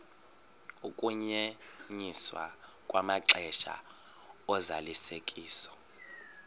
ukunyenyiswa kwamaxesha ozalisekiso